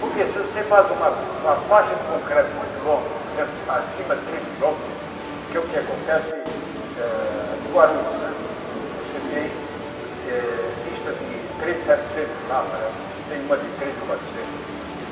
Porque se você faz uma uma faixa de concreto muito longa, por exemplo, acima de três quilômetros, que é o que acontece eh em Guarulhos né, que você tem pista de três setecentos lá, parece, e tem uma de três e quatrocentos, uma coisa assim.